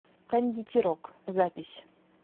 кондитерок запись